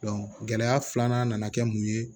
gɛlɛya filanan nana kɛ mun ye